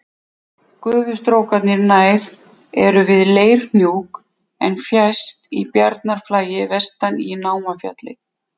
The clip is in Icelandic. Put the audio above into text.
Gufustrókarnir nær eru við Leirhnjúk en fjærst í Bjarnarflagi vestan í Námafjalli.